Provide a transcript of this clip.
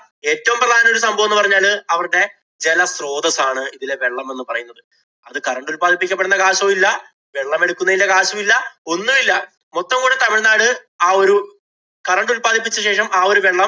ഏറ്റവും പ്രധാന ഒരു സംഭവം എന്ന് പറഞ്ഞാല് അവരുടെ ജലസ്രോതസ്സ് ആണ് ഇതിലെ വെള്ളം എന്ന് പറയുന്നത്. അത് current ഉല്‍പാദിപ്പിക്കപ്പെടുന്ന കാശും ഇല്ല, വെള്ളമെടുക്കുന്നതിന്‍റെ കാശും ഇല്ല, ഒന്നുമില്ല. മൊത്തം കൂടി തമിഴ്നാട് ആ ഒരു current ഉല്‍പാദിപ്പിച്ച ശേഷം ആ ഒരു വെള്ളം